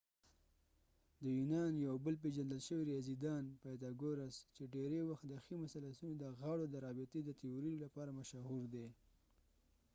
د یونان یو بل پیژندل شوي ریاضی دان پایتاګوراس چې ډیری وخت د ښی مثلثونو دغاړو د رابطی د تیوری لپاره مشهور دي